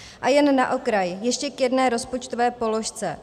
A jen na okraj ještě k jedné rozpočtové položce.